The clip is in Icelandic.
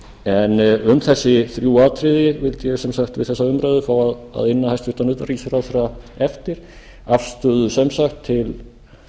en um þessi þrjú atriði vildi ég sem sagt við þessa umræðu fá að inna hæstvirtan utanríkisráðherra eftir afstöðu